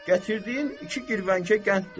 Gətirdiyin iki girvənkə qənddir.